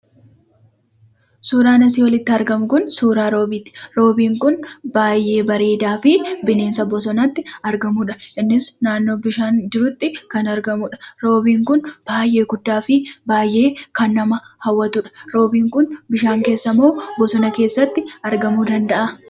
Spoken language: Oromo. Suuraan asii olitti argamu kun suuraa Roobiiti. Baay'ee bareedaa fi bineensa bosonatti argamudha. Innis naannoo bishaan jirutti kan argamudha. Roobiin kun baay'ee guddaa fi baay'ee kan nama hawwatudha. Roobiin kun bishaa keessa moo bosona keessatti argama?